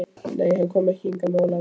Nei, hann kom ekki hingað með Ólafi.